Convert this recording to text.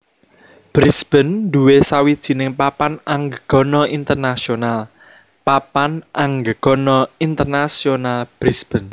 Brisbane nduwé sawijining papan anggegana internasional Papan Anggegana Internasional Brisbane